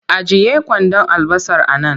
Ajiye kwandon albasar a nan!